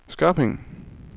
Skørping